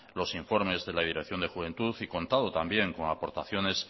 los informes de la dirección de juventud y contado también con aportaciones